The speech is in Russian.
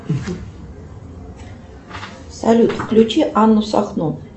салют включи анну сахно